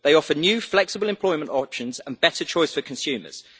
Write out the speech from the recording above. They offer new flexible employment options and better choice for consumers.